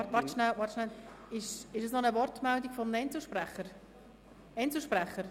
– Moment: Ist das noch eine Wortmeldung eines Einzelsprechers?